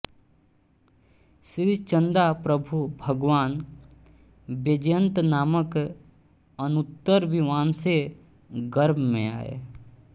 श्री चंदा प्रभु भगवान वैजयंतनामक अनुत्तर विमान से गर्भ में आये